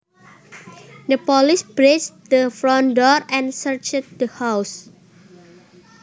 The police breached the front door and searched the house